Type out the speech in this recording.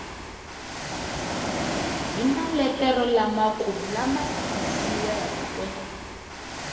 hi maletere lamakulu lama tikisiweke